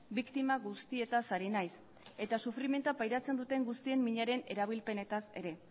biktima guztietaz ari naiz eta sufrimendua pairatzen duten guztien minaren erabilpenetaz ere